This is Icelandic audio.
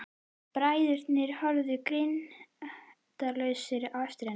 Bræðurnir horfa girndaraugum á eftir henni.